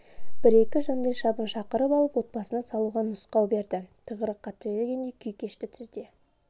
бір-екі жандайшабын шақырып алып отбасына салуға нұсқау берді тығырыққа тірелгендей күй кешті түзде